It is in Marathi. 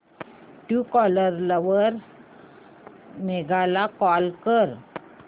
ट्रूकॉलर वर मेघा ला कॉल कर